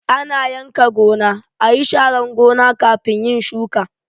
Ana yanka gona, ayi sharan gona kafin yin shuka